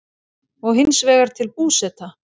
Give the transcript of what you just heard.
og hins vegar til Búseta.